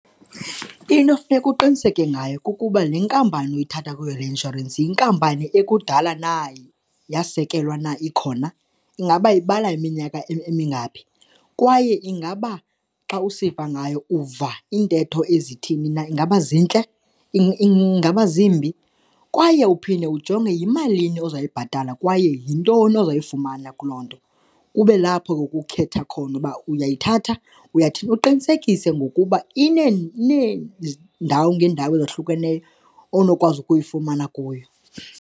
Into funeka uqiniseke ngayo kukuba le nkampani uyithatha kuyo le inshorensi yinkampani ekudala na yasekelwa na ikhona, ingaba ibala iminyaka emingaphi kwaye ingaba xa usiva ngayo uva iintetho ezithi na. Ingaba zintle? Ingaba zimbi? Kwaye uphinde ujonge yimalini ozoyibhatala kwaye yintoni ozayifumana kuloo nto, kube lapho ke ukukhetha khona uba uyithatha, uyathini. Uqinisekise ngokuba ineendawo ngeendawo ezahlukeneyo onokwazi ukuyifumana kuyo.